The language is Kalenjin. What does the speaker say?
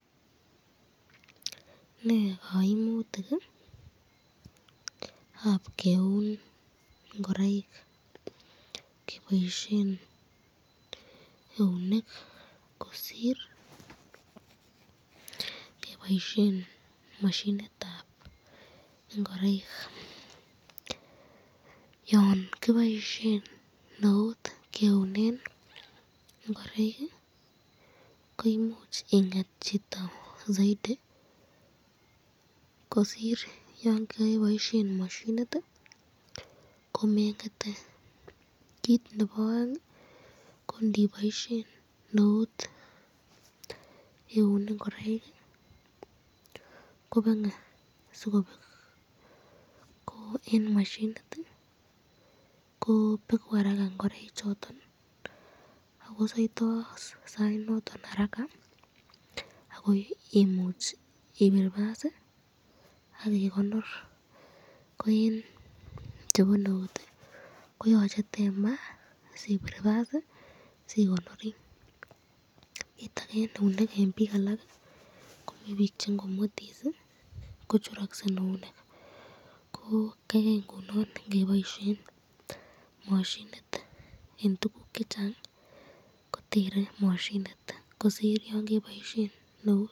Nee kaimutikab keun ingoraik keboisyen eunek kosir keboisyen mashinitab ingoraik , yon koboisyen eut keunen ingoraik koimuch inget chito saiti, kosir yon keboisyen mashinit ko